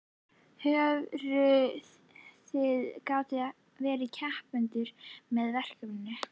Hörður, þið gátuð ekki verið heppnari með veður?